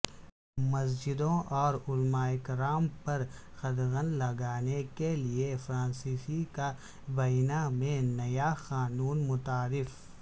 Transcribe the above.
مسجدوں اور علماء کرام پر قدغن لگانے کیلئے فرانسیسی کابینہ میں نیا قانون متعارف